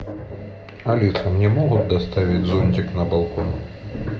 алиса мне могут доставить зонтик на балкон